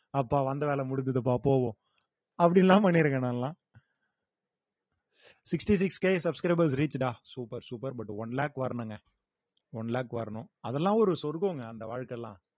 அப்பா வந்த வேலை முடிஞ்சதுப்பா போவோம் அப்படியெல்லாம் பண்ணிருக்கேன் நாலாம் sixty six K subscribers reach டா super super but one lakh வரணுங்க one lakh வரணும் அதெல்லாம் ஒரு சொர்க்கம்ங்க அந்த வாழ்க்கை எல்லாம்